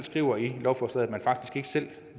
skriver i lovforslaget at man faktisk ikke selv